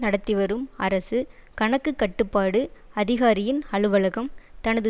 நடத்திவரும் அரசு கணக்கு கட்டுப்பாட்டு அதிகாரியின் அலுவலகம் தனது